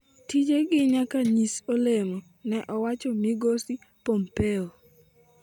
tije gi nyaka nyis olemo'', ne owacho migosi Pompeo.